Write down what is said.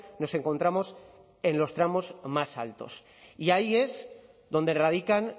nos encontramos en los tramos más altos y ahí es donde radican